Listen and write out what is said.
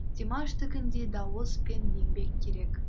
димаштікіндей дауыс пен еңбек керек